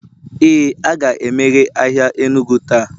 Ee, a ga-emeghe ahịa enugu taa